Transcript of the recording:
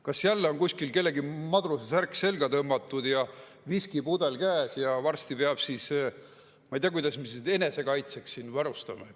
Kas jälle on kuskil kellelgi madrusesärk selga tõmmatud ja viskipudel käes ja varsti peab siis, ma ei tea, kuidas end siin enesekaitseks varustama?